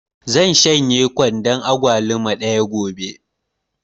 Zan shanye kwandon agwaluma ɗaya gobe